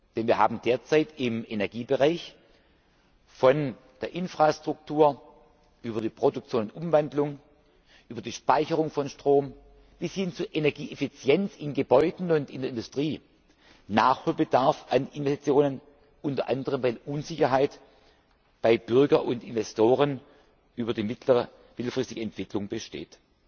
anregt. Denn wir haben derzeit im Energiebereich von der Infrastruktur über die Produktion und Umwandlung, über die Speicherung von Strom bis hin zur Energieeffizienz in Gebäuden und in der Industrie Nachholbedarf bei den Investitionen, unter anderem weil bei Bürgern und Investoren Unsicherheit über die mittelfristige Entwicklung